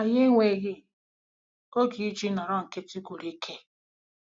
Anyị enweghị oge iji nọrọ nkịtị gwụrụ ike